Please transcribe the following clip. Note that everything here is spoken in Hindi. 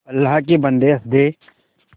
अल्लाह के बन्दे हंस दे